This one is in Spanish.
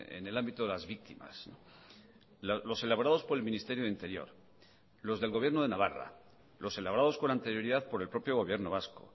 en el ámbito de las víctimas los elaborados por el ministerio de interior los del gobierno de navarra los elaborados con anterioridad por el propio gobierno vasco